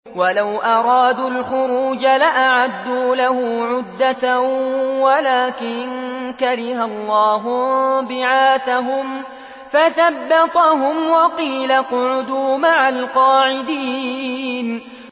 ۞ وَلَوْ أَرَادُوا الْخُرُوجَ لَأَعَدُّوا لَهُ عُدَّةً وَلَٰكِن كَرِهَ اللَّهُ انبِعَاثَهُمْ فَثَبَّطَهُمْ وَقِيلَ اقْعُدُوا مَعَ الْقَاعِدِينَ